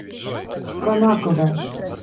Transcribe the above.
конаково